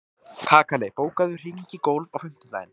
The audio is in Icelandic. Kakali, bókaðu hring í golf á fimmtudaginn.